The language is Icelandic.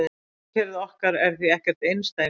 Sólkerfið okkar er því ekkert einsdæmi.